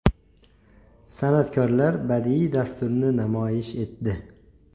San’atkorlar badiiy dasturni namoyish etdi.